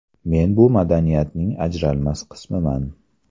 Men bu madaniyatning ajralmas qismiman.